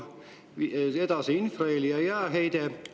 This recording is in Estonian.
Edasi, infraheli ja jääheide.